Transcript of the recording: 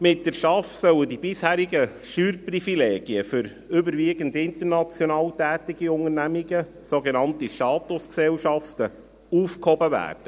Mit der STAF sollen die bisherigen Steuerprivilegien für überwiegend international tätige Unternehmen, sogenannte Statusgesellschaften, aufgehoben werden.